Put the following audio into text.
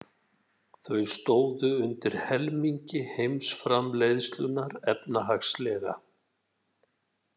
Þau stóðu undir helmingi heimsframleiðslunnar efnahagslega.